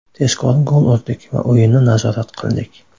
Tezkor gol urdik va o‘yinni nazorat qildik.